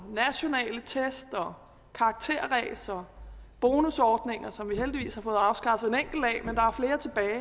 nationale test og karakterræs og bonusordninger som vi heldigvis har fået afskaffet